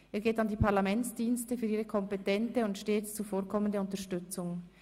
Er geht an die Parlamentsdienste für ihre kompetente und stets zuvorkommende Unterstützung.